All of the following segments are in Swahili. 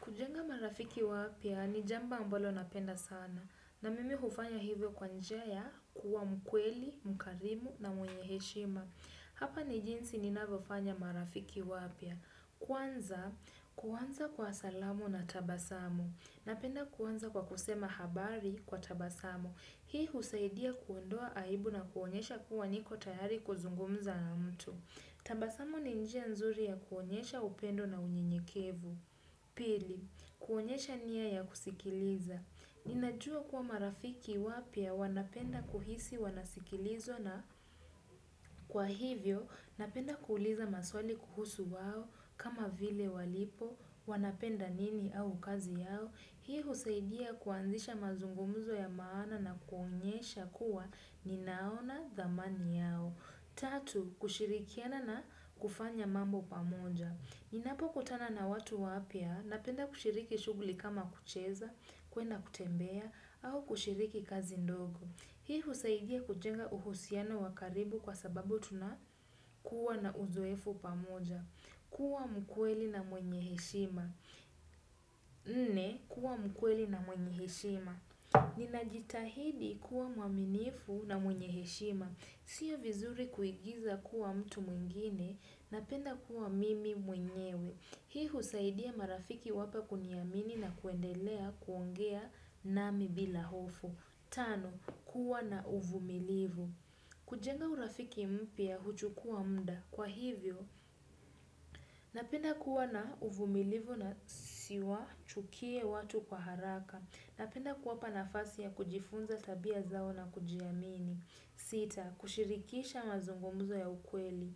Kujenga marafiki wapya ni jambo ambalo napenda sana. Na mimi hufanya hivyo kwa njia ya kuwa mkweli, mkarimu na mwenye heshima. Hapa ni jinsi ninavyofanya marafiki wapya. Kwanza, kuanza kwa salamu na tabasamu. Napenda kuanza kwa kusema habari kwa tabasamu. Hii husaidia kuondoa aibu na kuonyesha kuwa niko tayari kuzungumza na mtu. Tabasamu ni njia nzuri ya kuonyesha upendo na unyenyekevu. Pili, kuonyesha nia ya kusikiliza. Ninajua kuwa marafiki wapya wanapenda kuhisi wanasikilizwa na kwa hivyo, napenda kuuliza maswali kuhusu wao kama vile walipo, wanapenda nini au kazi yao. Hii husaidia kuanzisha mazungumuzo ya maana na kuonyesha kuwa ninaona dhamani yao. Tatu, kushirikiana na kufanya mambo pamoja. Ninapo kutana na watu wapya, napenda kushiriki shuguli kama kucheza, kuenda kutembea, au kushiriki kazi ndogo. Hii husaidia kujenga uhusiano wa karibu kwa sababu tunakuwa na uzoefu pamoja. Kuwa mkweli na mwenye heshima. Nne, kuwa mkweli na mwenye heshima. Ninajitahidi kuwa mwaminifu na mwenye heshima. Sio vizuri kuigiza kuwa mtu mwingine, napenda kuwa mimi mwenyewe. Hii husaidia marafiki wapya kuniamini na kuendelea kuongea nami bila hofu. Tano, kuwa na uvumilivu. Kujenga urafiki mpya huchukua mda. Kwa hivyo, napenda kuwa na uvumilivu na siwa chukie watu kwa haraka. Napenda kuwapa nafasi ya kujifunza tabia zao na kujiamini. Sita, kushirikisha mazungumuzo ya ukweli.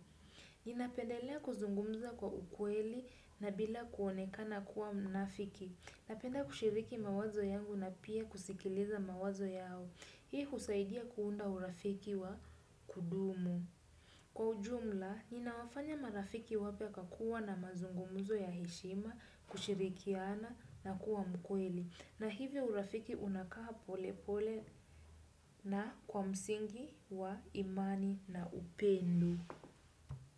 Ninapendelea kuzungumza kwa ukweli na bila kuonekana kuwa mnafiki. Napenda kushiriki mawazo yangu na pia kusikiliza mawazo yao. Hii husaidia kuunda urafiki wa kudumu. Kwa ujumla, ninawafanya marafiki wapya kwa kuwa na mazungumuzo ya heshima, kushirikiana na kuwa mkweli. Na hivyo urafiki unakaa pole pole na kwa msingi wa imani na upendo.